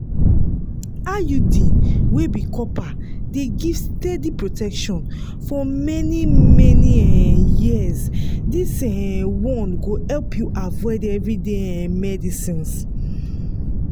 iud wey be copper dey give steady protection for many-many um years this um one go help you avoid everyday um medicines.